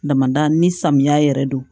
Damada ni samiya yɛrɛ don